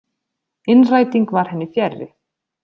Innræting var henni fjarri.